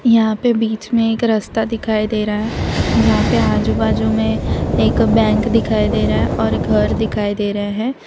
यहां पे बीच में एक रास्ता दिखाई दे रहा है जहां पे आजू बाजू में एक बैंक दिखाई दे रहा है और घर दिखाई दे रहा है।